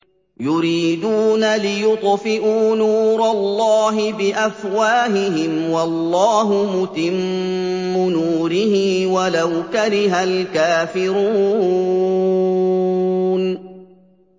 يُرِيدُونَ لِيُطْفِئُوا نُورَ اللَّهِ بِأَفْوَاهِهِمْ وَاللَّهُ مُتِمُّ نُورِهِ وَلَوْ كَرِهَ الْكَافِرُونَ